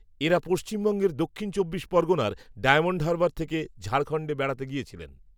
এঁরা পশ্চিমবঙ্গের দক্ষিণ চব্বিশ পরগনার, ডায়মণ্ড হারবার থেকে, ঝাড়খণ্ডে বেড়াতে গিয়েছিলেন